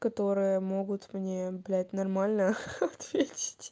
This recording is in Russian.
которые могут мне блять нормально ха-ха ответить